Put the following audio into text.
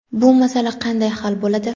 Bu masala qanday hal bo‘ladi?.